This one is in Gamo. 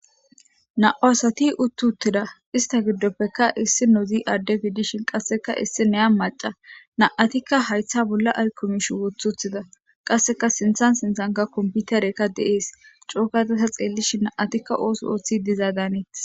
na7o asati uttuttida ista giddoppekka issi nozi aadde wiidishin qasseka issi neya maca naatikka haytha bolla aykomishi wothuthida qasseka sinthan sinthanka komputerekka de7ees cookatata xeellishi na7atikka ooso ooththi dizaadaaneet